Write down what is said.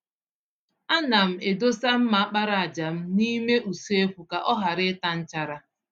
Ana m edosa mma àkpàràjà m n'ime usekwu ka ọ ghara ịta nchara.